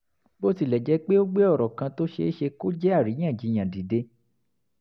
bí ó tilẹ̀ jẹ́ pé ó gbé ọ̀rọ̀ kan tó ṣeé ṣe kó jẹ́ àríyànjiyàn dìde